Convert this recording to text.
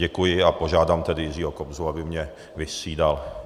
Děkuji a požádám tedy Jiřího Kobzu, aby mě vystřídal.